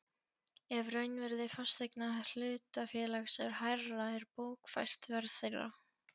ef raunvirði fasteigna hlutafélags er hærra er bókfært verð þeirra.